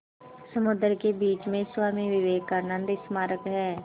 समुद्र के बीच में स्वामी विवेकानंद स्मारक है